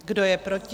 Kdo je proti?